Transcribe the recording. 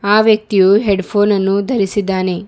ಆ ವ್ಯಕ್ತಿಯು ಹೆಡ್ಫೋನ್ ಅನ್ನು ಧರಿಸಿದ್ದಾನೆ.